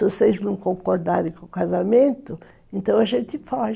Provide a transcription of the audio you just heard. Se vocês não concordarem com o casamento, então a gente foge.